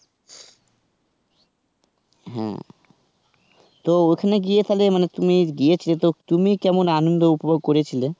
হ্যাঁ. তো ওখানে গিয়ে তাহলে মানে তুমি গিয়েছিলে তো তুমি কেমন আনন্দ উপভোগ করেছিলে?